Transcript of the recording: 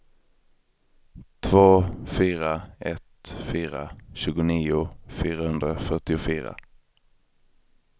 två fyra ett fyra tjugonio fyrahundrafyrtiofyra